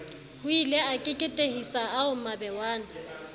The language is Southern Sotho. hoile a keketehisa ao mabewana